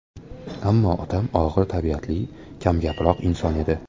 Ammo otam og‘ir tabiatli, kamgaproq inson edi.